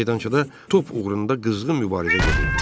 Meydançada top uğrunda qızğın mübarizə gedirdi.